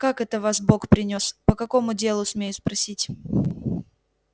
как это вас бог принёс по какому делу смею спросить